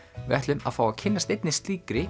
við ætlum að fá að kynnast einni slíkri